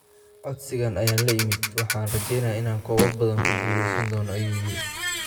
Codsigan ayaan la imid, waxaana rajeynayaa inaan koobab badan ku guuleysan doono, ayuu yiri.